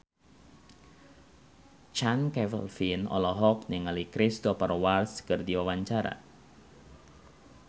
Chand Kelvin olohok ningali Cristhoper Waltz keur diwawancara